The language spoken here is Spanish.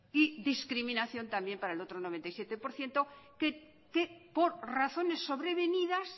y discriminación también para el otro noventa y siete por ciento que por razones sobrevenidas